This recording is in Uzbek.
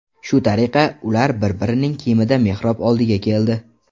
Shu tariqa, ular bir-birining kiyimida mehrob oldiga keldi.